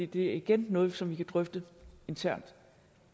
det er igen noget som vi kan drøfte internt